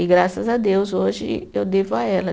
E graças a Deus, hoje eu devo a ela.